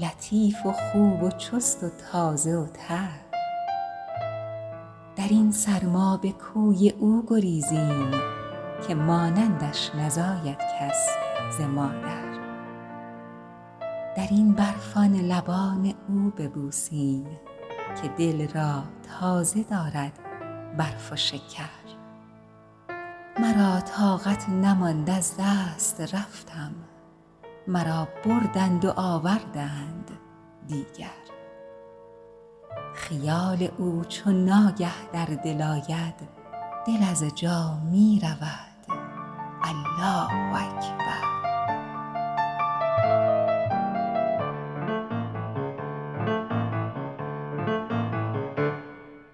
لطیف و خوب و چست و تازه و تر در این سرما به کوی او گریزیم که مانندش نزاید کس ز مادر در این برف آن لبان او ببوسیم که دل را تازه دارد برف و شکر مرا طاقت نماند از دست رفتم مرا بردند و آوردند دیگر خیال او چو ناگه در دل آید دل از جا می رود الله اکبر